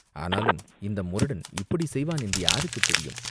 ஆனாலும் இந்த முரடன் இப்படிச் செய்வான் என்று யாருக்குத் தெரியும்?